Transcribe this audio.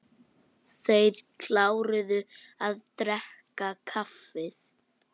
Þeir kláruðu að drekka kaffið.